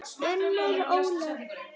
Unnur Ólöf.